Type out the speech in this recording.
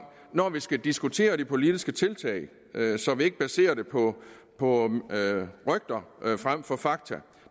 når vi skal diskutere de politiske tiltag så vi ikke baserer det på på rygter frem for fakta